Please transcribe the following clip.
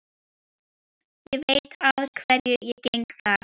Ég veit að hverju ég geng þar.